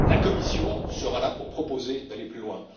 La Commission sera là pour proposer d'aller plus loin.